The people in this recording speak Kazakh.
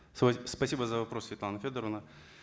спасибо за вопрос светлана федоровна